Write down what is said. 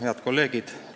Head kolleegid!